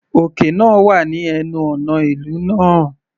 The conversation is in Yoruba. Òkè náà wà ní ẹnu ọ̀nà ìlú náà.